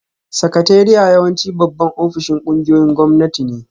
Sakatariya yawanci babban ofishin ƙungiyoyin gwamnati ne